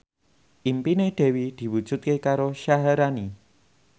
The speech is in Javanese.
impine Dewi diwujudke karo Syaharani